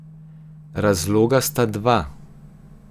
Razloga sta dva.